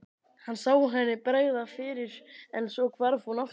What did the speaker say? Hann sá henni bregða fyrir en svo hvarf hún aftur.